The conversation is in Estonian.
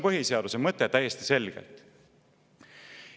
See on täiesti selgelt põhiseaduse mõte.